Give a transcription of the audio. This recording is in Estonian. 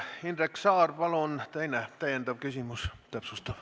Indrek Saar, palun teine, täpsustav küsimus!